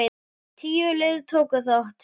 Tíu lið tóku þátt.